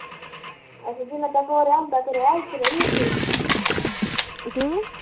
ਅਸੀਂ ਵੀ ਵਿਆਹ ਕਰੀ ਤੇ ਰਹੀ ਇੱਥੇ